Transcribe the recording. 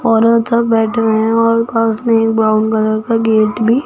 औरत सब बैठ है और पास में एक ब्राउन कलर का गेट भी--